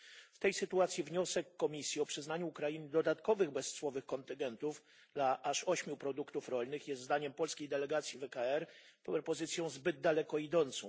W tej sytuacji wniosek Komisji o przyznanie Ukrainie dodatkowych bezcłowych kontyngentów dla aż ośmiu produktów rolnych jest zdaniem polskiej delegacji w ECR propozycją zbyt daleko idącą.